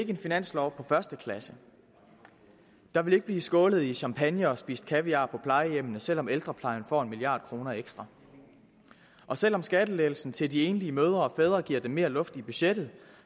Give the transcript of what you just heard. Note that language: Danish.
en finanslov på første klasse der vil ikke blive skålet i champagne og spist kaviar på plejehjemmene selv om ældreplejen får en milliard kroner ekstra og selv om skattelettelsen til de enlige mødre og fædre giver dem mere luft i budgettet